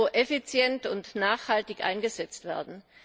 Euro effizient und nachhaltig eingesetzt werden.